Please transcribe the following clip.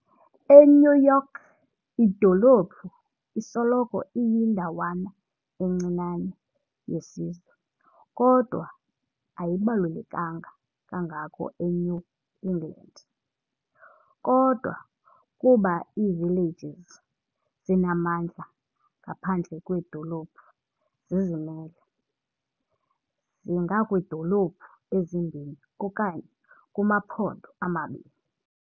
E-New York, idolophu isoloko iyindawana encinane yesizwe, kodwa ayibalulekanga kangako eNew England. Kodwa, kuba iivillages zinamandla ngaphandle kweedolophu , zizimele, zingakwiidolophu ezimbini okanye kumaphondo amabini.